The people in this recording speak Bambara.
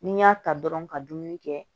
Ni n y'a ta dɔrɔn ka dumuni kɛ